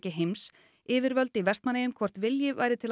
heims yfirvöld í Vestmannaeyjum hvort vilji væri til að